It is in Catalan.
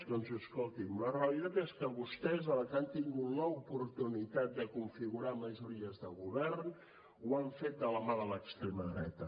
doncs escolti’m la realitat és que vostès a la que han tingut l’oportunitat de configurar majories de govern ho han fet de la mà de l’extrema dreta